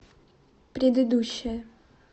предыдущая